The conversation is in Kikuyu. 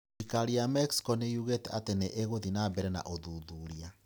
Thirikari ya Mexico nĩ yugĩte atĩ nĩ ĩgũthiĩ na mbere na ũthuthuria